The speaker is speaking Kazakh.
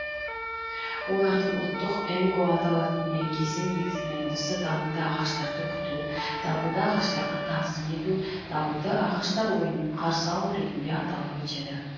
олардың ұлттық енго аталатын мерекесі негізінен осы дабылды ағаштарды күту дабылды ағаштарға тағзым ету дабылды ағаштар ойынын қарсы алу ретінде аталып өтеді